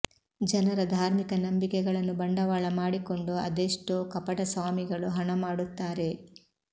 ಜನರ ಧಾರ್ಮಿಕ ನಂಬಿಕೆಗಳನ್ನು ಬಂಡವಾಳ ಮಾಡಿಕೊಂಡು ಅದೆಷ್ಟೋ ಕಪಟ ಸ್ವಾಮಿಗಳು ಹಣ ಮಾಡುತ್ತಾರೆ